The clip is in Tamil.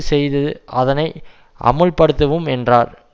செய்தது அதனை அமுல்படுத்துவோம் என்றார்